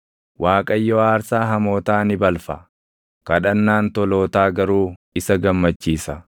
Waaqayyo aarsaa hamootaa ni balfa; kadhannaan tolootaa garuu isa gammachiisa.